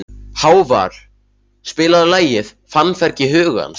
Hávarr, spilaðu lagið „Fannfergi hugans“.